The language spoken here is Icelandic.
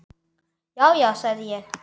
Já, já, sagði ég.